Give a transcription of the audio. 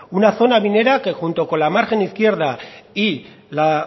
una zona minera que junto con la margen izquierda y la